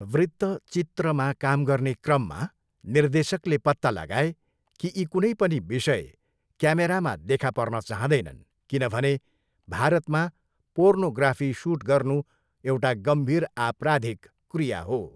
वृत्तचित्रमा काम गर्ने क्रममा निर्देशकले पत्ता लगाए कि यी कुनै पनि विषय क्यामेरामा देखा पर्न चाहँदैनन् किनभने भारतमा पोर्नोग्राफी सुट गर्नु एउटा गम्भीर आपराधिक क्रिया हो।